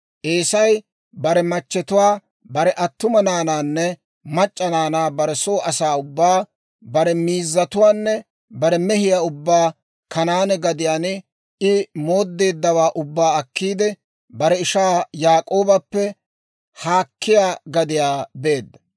Eesay bare machchetuwaa, bare attuma naanaanne mac'c'a naanaa, bare soo asaa ubbaa, bare miizzatuwaanne bare mehiyaa ubbaa Kanaane gadiyaan I mooddeeddawaa ubbaa akkiidde, bare ishaa Yaak'oobappe haakkiyaa gadiyaa beedda.